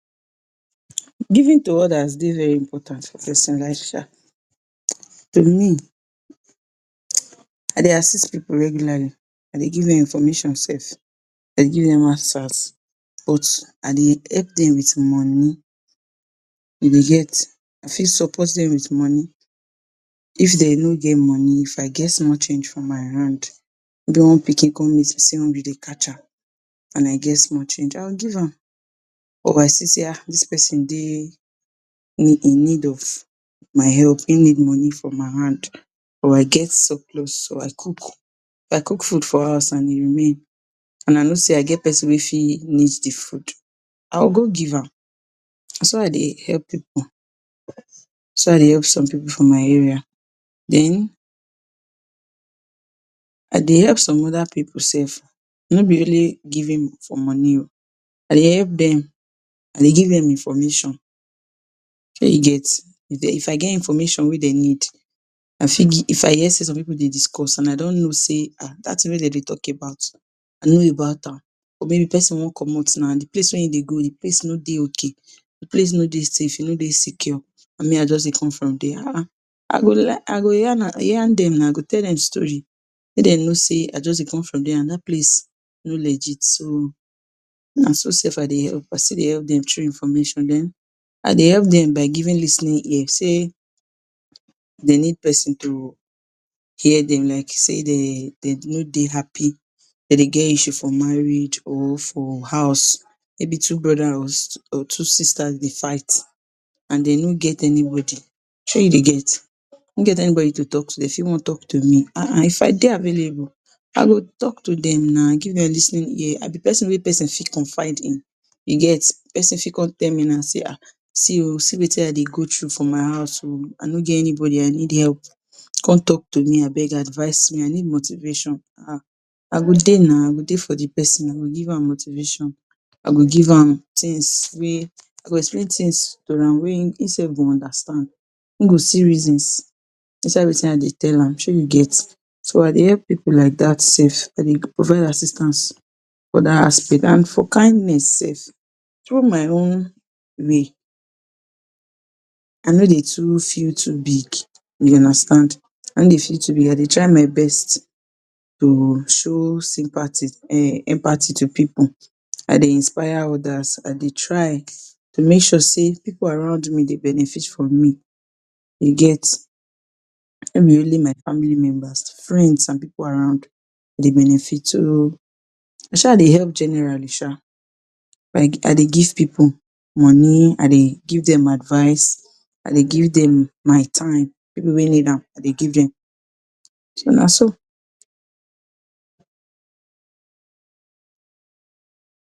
Giving to odas dey very important for persin life um to me I dey assist pipu regularly, I dey give dem information sef I dey give dem answers. But I dey help dem with money e dey get I fit support dem with money. If dey no get money If I get small change for my hand maybe one pikin come meet me sey hungry dey catch her, and I get small change, I go give am. Or I still sey um, dis persin dey in need of my help, im need money from my hand. Or I get surplus, or I cook, I cook food for house and e remain, and I no sey I get persin wey fit need de food, I go go give am. Naso I dey help pipu naso I dey help some pipu from my area, den I dey help some oda pipu self. No be really giving for money oh, I dey help dem, I dey give dem information Shey you get If I get information wey dem need, I fit If I hear sey some pipu dey discuss and I don know sey um, dat ting wey dem dey talk about, I know about am. Or maybe persin want comot now de place wey im dey go, de place no dey okay, de place no dey safe, e no dey secure, and me I just dey come from der, um, I go yarn dem now, I go tell dem story make dem know sey I just dey come from der and dat place no legit so na so sef I dey help, I still dey help dem through information. Den I dey help dem by giving lis ten ing ear, sey dey need persin to hear dem. Like sey dey no dey happy, dem dey get issue for marriage or for house. Maybe two brother or two sister dey fight, and dey no get anybody. Shey you dey get? Dey no get anybody to talk to dey fit want talk to me um, if I dey available, I go talk to dem now, give dem lis ten ing ear. I be persin wey persin fit confide in. You get persin fit come tell me now sey um, see oh, see wetin I dey go through for my house oh, I no get anybody, I need help come talk to me abeg, advise me, I need motivation um. I go dey now, I go dey for de persin, I go give am motivation. I go give am things wey I go explain thing to am, wey im self go understand, im go see reasons inside wetin I dey tell am. Shey you get? So I dey help pipu like dat self, I dey provide assistance for dat aspect. And for kindness sef, through my own way, I no dey too feel too big, you understand? I no dey feel too big, I dey try my best to show sympathy, um, empathy to pipu. I dey inspire odas, I dey try to make sure sey pipu around me dey benefit from me. You get? No be only my family members, friends and pipu around dey benefit, So I shaa dey help generally sha, like I dey give pipu money, I dey give dem advice, I dey give dem my time, pipu wey need am, I dey give dem. So na so.